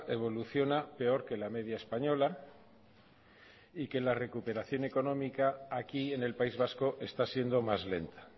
evoluciona peor que la media española y que la recuperación económica aquí en el país vasco está siendo más lenta